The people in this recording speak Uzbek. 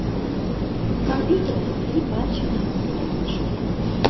Kompyuter orqali barcha ma’lumotlarni olish mumkin.